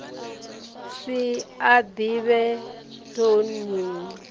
si a ḓivhe toe ni